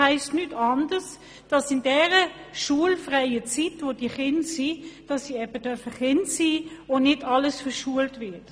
Die Kinder halten sich in ihrer schulfreien Zeit dort auf, und dann sollen sie eben Kinder sein dürfen und nicht auch noch «verschult» werden.